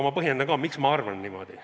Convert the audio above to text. Ma põhjendan ka, miks ma arvan niimoodi.